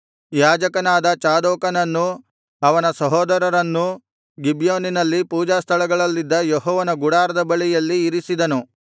ಯಾಜಕನಾದ ಚಾದೋಕನನ್ನೂ ಅವನ ಸಹೋದರರನ್ನೂ ಗಿಬ್ಯೋನಿನ ಪೂಜಾಸ್ಥಳಗಳಲ್ಲಿದ್ದ ಯೆಹೋವನ ಗುಡಾರದ ಬಳಿಯಲ್ಲಿ ಇರಿಸಿದನು